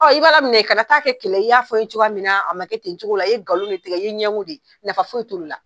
i b'Ala de minɛ kana taa kɛ kɛlɛ ye, i y'a fɔ n cogoya min na, a ma kɛ ten cogo la, i ye nkalon ne tigɛ, i ye ɲɛgo de ye, nafa foyi t'olu la.